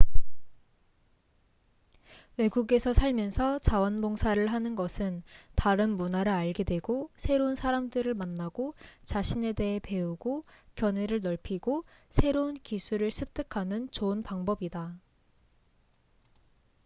외국에서 살면서 자원봉사를 하는 것은 다른 문화를 알게 되고 새로운 사람들을 만나고 자신에 대해 배우고 견해를 넓이고 새로운 기술을 습득하는 좋은 방법이다